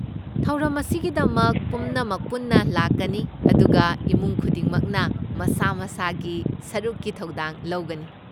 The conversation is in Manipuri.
ꯊꯧꯔꯝ ꯑꯁꯤꯒꯤꯗꯃꯛ ꯄꯨꯝꯅꯃꯛ ꯄꯨꯟꯅ ꯂꯥꯛꯀꯅꯤ, ꯑꯗꯨꯒ ꯏꯃꯨꯡ ꯈꯨꯗꯤꯡꯃꯛꯅ ꯃꯁꯥ ꯃꯁꯥꯒꯤ ꯁꯔꯨꯛꯀꯤ ꯊꯧꯗꯥꯡ ꯂꯧꯒꯅꯤ꯫